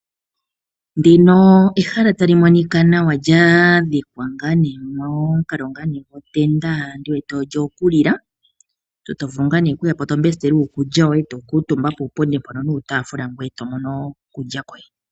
Ehala tali monika nawa lya dhikwa momukalo gotenda, ondi wete kutya olyokulila. Omuntu to vulu okuya po, e to mbestele uukulya woye e to kuutumba puupundi mpono nuutaafula ngoye to mono okulya koye.